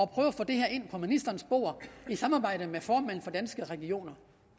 prøve at få det her ind på ministerens bord i samarbejde med formanden for danske regioner